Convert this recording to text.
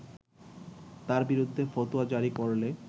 তার বিরুদ্ধে ফতোয়া জারি করলে